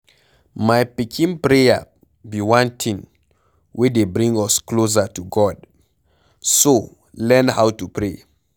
My pikin prayer be one thing wey dey bring us closer to God. So learn how to pray.